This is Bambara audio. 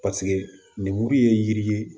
Paseke lemuru ye yiri ye